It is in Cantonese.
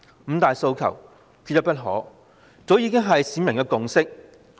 "五大訴求，缺一不可"早已是市民的共識。